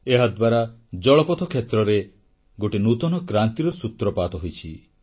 ଏହାଦ୍ୱାରା ଜଳପଥ କ୍ଷେତ୍ରରେ ଗୋଟିଏ ନୂତନ କ୍ରାନ୍ତିର ସୂତ୍ରପାତ ହୋଇଛି